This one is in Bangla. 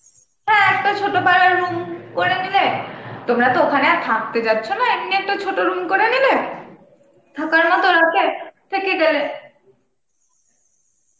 হ্যাঁ একটা ছোট করে নিলে, তোমরা তো ওখানে আর থাকতে যাচ্ছ না, এমনি একটা ছোট room করে নিলে থাকার মতন রাতে, থেকে গেলে.